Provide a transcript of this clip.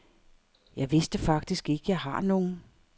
Jeg vidste faktisk ikke, jeg har nogen.